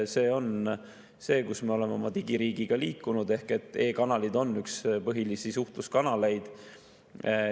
See on see, kuhu me oleme oma digiriigiga liikunud, et e‑kanalid on üks põhilisi suhtluskanaleid.